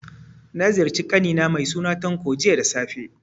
Na ziyarci ƙani na mai suna Tanko, jiya da safe.